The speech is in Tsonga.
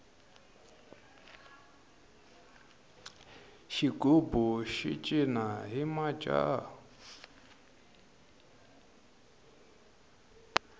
xigubu xi cina hi majaha